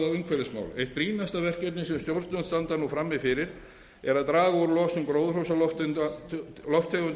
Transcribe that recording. á umhverfismál eitt brýnasta verkefnið sem stjórnvöld standa nú frammi fyrir er að draga úr losun gróðurhúsalofttegunda og þar með